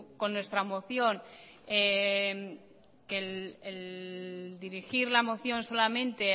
que el dirigir la moción solamente